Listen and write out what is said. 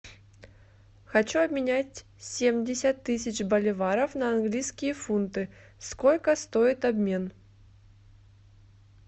хочу обменять семьдесят тысяч боливаров на английские фунты сколько стоит обмен